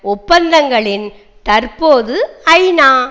ஒப்பந்தங்களின் தற்போது ஐநா